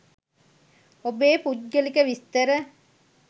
ඔබේ පුද්ගලික විස්තර